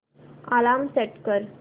alarm set कर